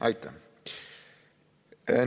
Aitäh!